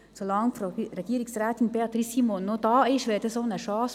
Solange Frau Regierungsrätin Beatrice Simon noch da ist, ist das eine Chance.